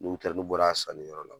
N'u kilala n'u bɔra sanni yɔrɔ la